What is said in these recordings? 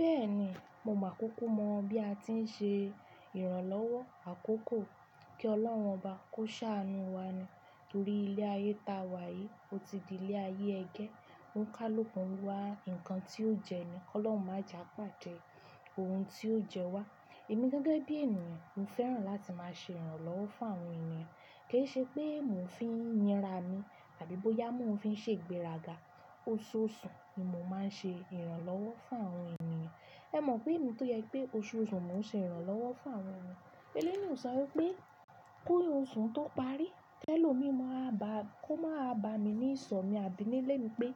Bẹ́ẹ̀ni, mo mọ̀ kúkú mọ bí a tí ń ṣe ìrànlọ́wọ́ àkókò kí Ọlọ́run obá, kó ṣá anú wa ni. Nítorí ilé ayé ta wà yìí, ó ti di ilé ayé ẹgẹ́. Ó ń ká lókun wa, ǹkan tí ó jẹni, kí Ọlọ́run má je à pàdẹ́ ohun tí ó jẹ wa. Èmi gẹ́gẹ́ bí ènìyàn, mo fẹ́ràn láti máa ṣe ìrànlọ́wọ́ fún àwọn ènìyàn. Kì í ṣe pé mò ń fi yinra mi àbí bóyá mò ń fi ṣe gbéraga. Oṣooṣù ni mo máa ń ṣe ìrànlọ́wọ́ fún àwọn ènìyàn. Ẹ mọ̀ pé èmi tó yẹ pé oṣooṣù mò ń ṣe ìrànlọ́wọ́ fún àwọn ènìyàn. Eléní ò ṣọ wí pé kó oṣù tó parí, tẹ́lẹ̀ ò mi mọ̀ á bá, kó máa bá mi ní ìsọmi àbí nílé mi pé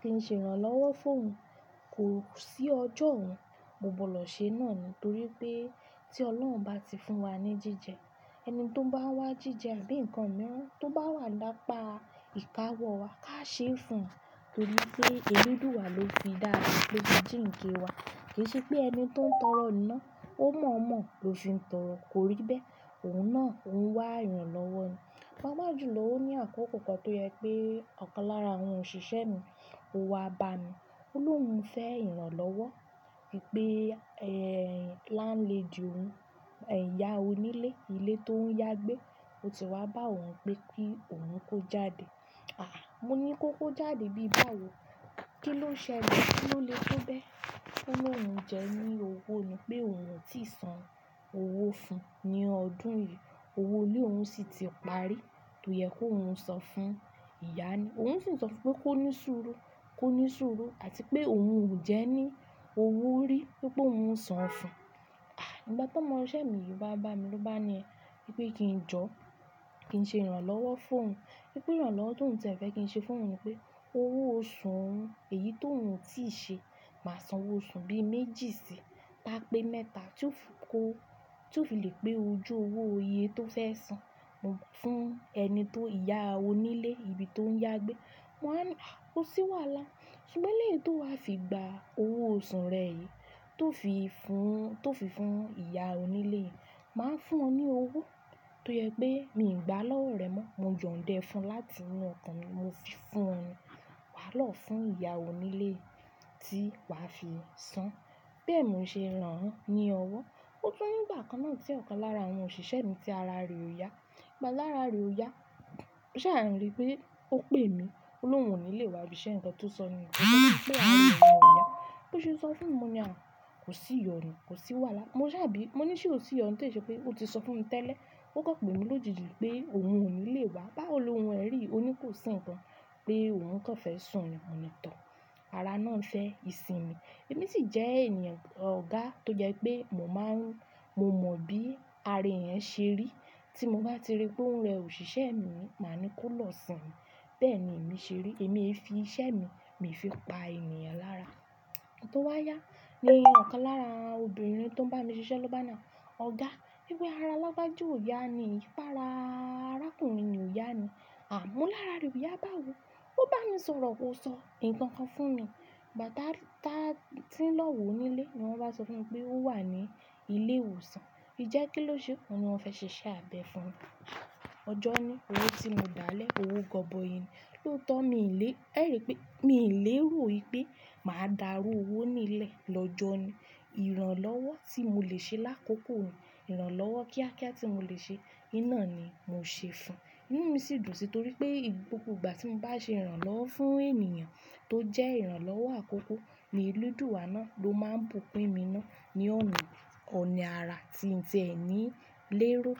kí n ṣe ìrànlọ́wọ́ fún òun. Kò sí ọjọ́ òun, gbogbo lọ ṣe náà ni. Nítorí pé tí Ọlọ́run bá ti fún wa ní jíjẹ, ẹni tó bá wá jíjẹ àbí nǹkan mìíràn tó bá wà lápá ìkáwọ̀ wa ká ṣe fún un. Nítorí sé, inú dùwà lo fi dára, ló ju jíǹkẹ́ wa. Kì í ṣe pé ẹni tó ń tọrọ iná, ó mọ̀ mọ̀ ló fi ń tọrọ. Kò rí bẹ́ẹ̀, òun náà ń wá ìrànlọ́wọ́ ni. Pápá jùlọ ó ní àkókò kan tó yẹ pé ọ̀kan lára àwọn òṣìṣẹ́ mi, ó wá bá mi. Olúwo ń fẹ́ ìrànlọ́wọ́, pé, ẹ́, láńlẹ dí òun, ẹ̀yà onílé, ilé tó ń yá gbé, ó ti wá bá òun pé kí òun kó jáde. Mo ní kó kó jáde bí b'áwo. Kí ló ń ṣẹlẹ̀? Kí ló lè tó bẹ́? Ó lọ̀ wòún jẹ́ ní owó ni pé òun ò tíì san owó fun ní ọdún yìí. Owó ilé òun sì ti parí, tó yẹ kó òun sọ fún ìyá ni. Òun sì ń sọ fún pé kó ní sùúrù, kó ní sùúrù àti pé òun ò jẹ́ ní owó rí, pé kó ń san fún un. À, ìgbà tó ọmọ òṣìṣẹ́ mi yìí wá bá mi ló bá ni pé kí n jọ́, kí n ṣe ìrànlọ́wọ́ fún òun. Pé ìrànlọ́wọ́ tó ń tẹ́ ẹ fẹ́ kí n ṣe fún òun ni pé owó oṣù òun, èyí tó òun ò tíì ṣe, máa san owó oṣù bí méjì sí i, t'á pé mẹ́ta tí ó fi kó, tí ó fi lè pé ojú owó oye tó fẹ́ san fún ẹni tó ìyá onílé ibi tó ń yá gbé. Mo wá ní, a, kó sì wà lá. Ṣùgbọ́n eléyi tó wá fi gba owó oṣù rẹ yìí tó fi fún, tó fi fún ìyá onílé, màá fún ọ ní owó tó yẹ pé mi ò gba lọ́wọ́ rẹ mọ́. Mo yań da ẹ fun láti inú ọkàn mi, mo fi fún ẹ. Wà á lọ fún ìyá onílé tí wà á fi san. Bẹ́ẹ̀ ni mò ń ṣe ràn ní ọwọ́. Ó jọ́ ní ìgbà kan náà tí ọ̀kan lára àwọn òṣìṣẹ́ mi tí ara rẹ̀ ò yá. Ìgbà lára rẹ̀ ò yá, mo ṣàrìnle pé ó pè mí. Olúwo onílé wa bí iṣẹ́ nǹkan tó sọ ni. Ó sọ fún mi pé ara rẹ̀ ò yá. Bí ó ṣe sọ fún mi, mo ní à, kò sì yọ̀ ni, kò sì wà lá. Mo ṣàbí, mo ní ṣé ò sì yọ̀? Ní ìṣe pé o ti sọ fún mi tẹ́lẹ̀. Ó kọ̀ pè mi lójijì pé òun onílé wa. Bá olúwo ń rí i, òní kò sì nǹkan pé òun kàn fẹ́ sùn ni ọ̀nà tọ̀. Ara náà ń fẹ́ ìsinmi. Èmi sì jẹ́ ènìyàn ọ̀gá tó jẹ pé mò máa ń, mo mọ bí ara èèyàn ṣe rí. Tí mo bá ti rí pé ń rẹ òṣìṣẹ́ mi, màá ní kó lọ sìn ín. Bẹ́ẹ̀ ni èmi ṣe rí. Èmi fi iṣẹ́ mi, mi fi pa ènìyàn lára. Nígba tó wá yá, lẹ́yìn ọ̀kan lára obìnrin tó ń bá mi ṣe iṣẹ́ ló bá náà. "Ọ̀gá, ẹbí ara alágbájó ò yá ni. Í pa ara arákùnrin ni ò yá ni." À, mo ní lára rẹ̀ ò yá báwo? Ó bá mi sọ̀rọ̀ wòó sọ nǹkan kan fún mi. Ìgbà táa tí ń lọ wò onílé ni wọ́n bá sọ fún mi pé ó wà ní ilé ìwòsàn. Ìjẹ́ kí ló ṣe? Wọ́n ní wọ́n fẹ́ ṣe iṣẹ́ àbẹ̀ fún un. Ọjọ́ na, owó tí mo dá lé, owó gbọgbọyìn ni. Bí ó tọ́ mi ì lé, ẹ rí i pé, mi ò lè ró i pé màá dàrú owó onílé lọ́jọ́ ni. Ìrànlọ́wọ́ tí mò lè ṣe lákòókò yìí, ìrànlọ́wọ́ kíákíá tí mò lè ṣe, iná ni mò ń ṣe fún un. Ìnú mi sì dùn sí i torí pé gbogbo ìgbà tí mo bá ṣe ìrànlọ́wọ́ fún ènìyàn tó jẹ́ ìrànlọ́wọ́ àkókò ni eledùwà náà ló máa ń bùn kún emi ná. Ni òun ò ní ara tí ń jẹ ẹni lérò.